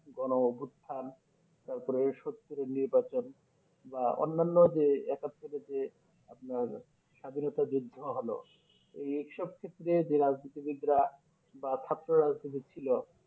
গণ গুথান তারপরে সত্তরের নির্বাচন বা অনন্য যে একাত্তরের যে আপনার স্বাধীনতা যুদ্ধ হলো এই এসব ক্ষেত্রে যে রাজনীতি বিদরা বা রাজনীতি ছিল